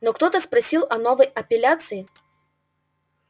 но ктото просил о новой апелляции